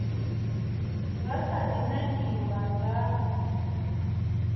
nga kha di nangiwa nga